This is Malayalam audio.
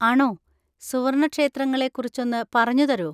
ആണോ, സുവർണക്ഷേത്രങ്ങളെ കുറിച്ചൊന്ന് പറഞ്ഞു തരോ?